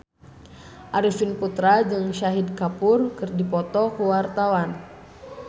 Arifin Putra jeung Shahid Kapoor keur dipoto ku wartawan